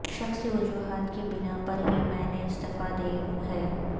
شخصی وجوہات کی بنا پر ہی میں نے استعفی دی ہے